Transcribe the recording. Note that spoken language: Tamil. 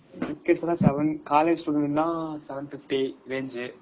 Tickets எல்லாம் seven காலேஜ் பிள்ளைங்கன்னா seven fifty range